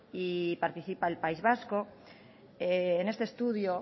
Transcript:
y participa el país vasco en este estudio